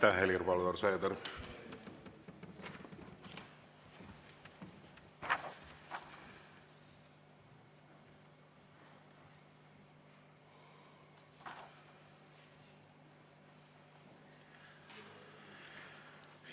Aitäh, Helir-Valdor Seeder!